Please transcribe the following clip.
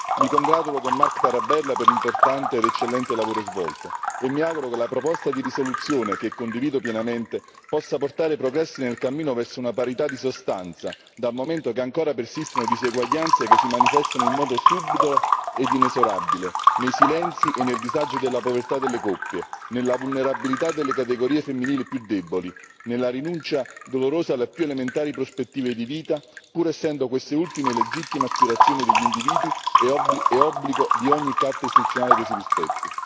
Mi congratulo con Marc Tarabella per l'importante ed eccellente lavoro svolto e mi auguro che la proposta di risoluzione, che condivido pienamente, possa portare progressi nel cammino verso una parità di sostanza, dal momento che ancora persistono diseguaglianze che si manifestano in modo subdolo e inesorabile nei silenzi e nel disagio della povertà delle coppie, nella vulnerabilità delle categorie femminili più deboli, nella rinuncia dolorosa alle più elementari prospettive di vita, pur essendo queste ultime legittime aspirazioni degli individui e obbligo di ogni carta istituzionale che si rispetti.